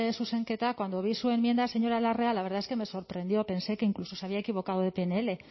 zuzenketa cuando vi su enmienda señora larrea la verdad es que me sorprendió pensé que incluso se había equivocado de pnl